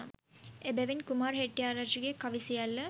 එබැවින් කුමාර හෙට්ටිආරච්චිගේ කවි සියල්ල